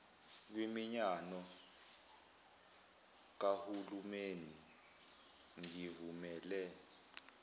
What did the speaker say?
kwiminyano kahulimeni ngivumele